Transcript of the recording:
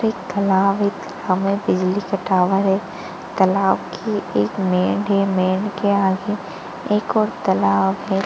bag भी राखी हुई है और स्प्राइट की बोतल भी राखी हुई है स्टूल भी डाले हुई हैं पीछे इंसान भी दिखाई दे रहे हैं और स्विमिंग पुल के अंदर --